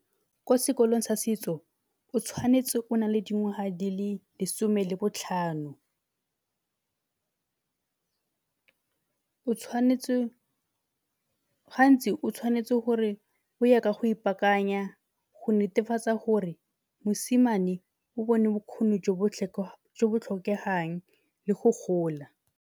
Ko sekolong sa setso o tshwanetse o na le dingwaga di le lesome le botlhano. O tshwanetse, gantsi o tshwanetse gore o ye ka go ipaakanya go netefatsa gore mosimane o bone bokgoni jo bo tlhokegang le go gola.